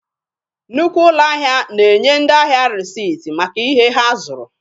Nnukwu ụlọ ahịa na-enye ndị ahịa resipt maka ihe ha zụrụ.